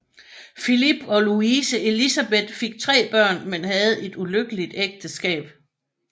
Filip og Louise Élisabeth fik tre børn men havde et ulykkeligt ægteskab